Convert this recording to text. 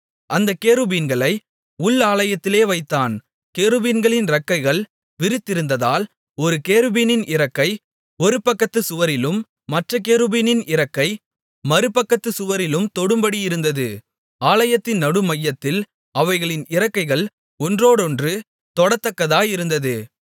அந்தக் கேருபீன்களை உள் ஆலயத்திலே வைத்தான் கேருபீன்களின் இறக்கைகள் விரித்திருந்ததால் ஒரு கேருபீனின் இறக்கை ஒரு பக்கத்துச்சுவரிலும் மற்றக் கேருபீனின் இறக்கை மறுபக்கத்துச் சுவரிலும் தொடும்படியிருந்தது ஆலயத்தின் நடுமையத்தில் அவைகளின் இறக்கைகள் ஒன்றோடொன்று தொடத்தக்கதாயிருந்தது